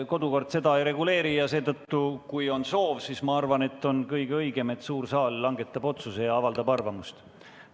Kodukord seda ei reguleeri ja seetõttu, kui on soov, on minu arvates kõige õigem lasta suurel saalil otsus langetada ja arvamust avaldada.